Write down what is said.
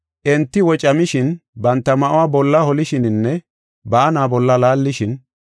Enti wocamishin, banta ma7uwa bolla holishininne baana bolla laallishin;